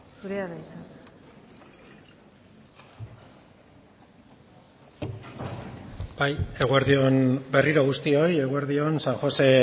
zurea da hitza bai eguerdi on berriro guztioi eguerdion san josé